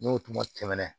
N'o kuma tɛmɛnen